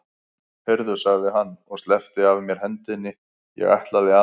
Heyrðu, sagði hann og sleppti af mér hendinni, ég ætla aðeins.